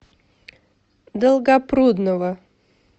долгопрудного